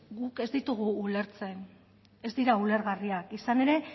guk ez ditugu ulertzen ez dira ulergarriak izan ere